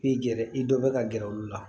I gɛrɛ i dɔ bɛ ka gɛrɛ olu la